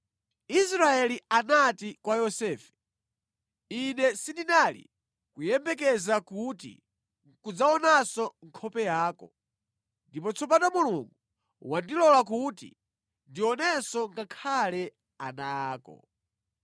Israeli anati kwa Yosefe, “Ine sindinali kuyembekeza kuti nʼkudzaonanso nkhope yako, ndipo tsopano Mulungu wandilola kuti ndionenso ngakhale ana ako.”